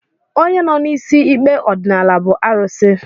Onye nọ n'isi ikpe ọdịnala bụ arụsị